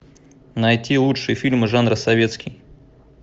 найти лучшие фильмы жанра советский